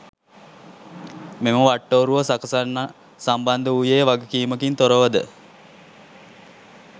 මෙම වට්ටෝරුව සකසන්න සම්බන්ධ වූයේ වගකීමකින් තොරවද?